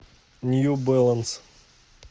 нью бэланс